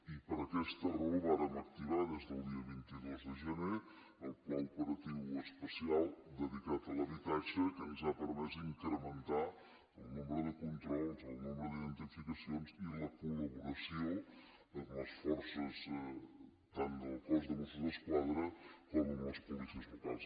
i per aquesta raó vàrem activar des del dia vint dos de gener el pla operatiu especial dedicat a l’habitatge que ens ha permès incrementar el nombre de controls el nombre d’identificacions i la colforces tant del cos de mossos d’esquadra com amb les policies locals